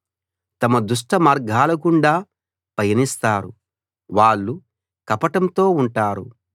తమ దుష్ట మార్గాలగుండా పయనిస్తారు వాళ్ళు కపటంతో ఉంటారు